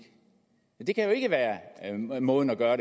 det kan jo ikke være måden at gøre